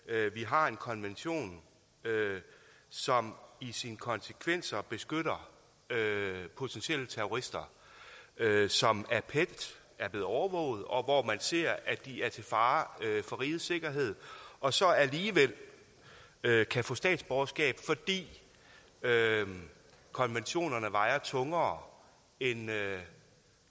at vi har en konvention som i sine konsekvenser beskytter potentielle terrorister som er blevet overvåget og hvor man ser at de er til fare for rigets sikkerhed og så alligevel kan få statsborgerskab fordi konventionerne vejer tungere end